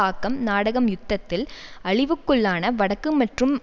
ஆக்கம் நாடகம் யுத்தத்தில் அழிவுக்குள்ளான வடக்கு மற்றும்